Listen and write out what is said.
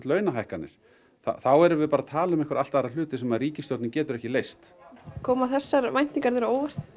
launahækkanir þá erum við bara að tala um einhverja allt aðra hluti sem að ríkisstjórnin getur ekki leyst koma þessar væntingar þér á óvart